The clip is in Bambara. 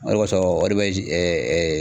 O de kosɔn o de bɛ ji ɛ ɛ